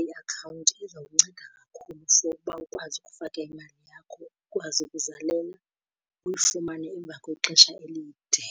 Iakhawunti iza kunceda kakhulu for uba ukwazi ukufaka imali yakho ikwazi ukuzalela uyifumane emva kwexesha elide.